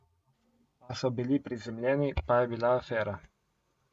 Pa so bili prizemljeni, pa je bila afera.